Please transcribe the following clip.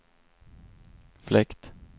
fläkt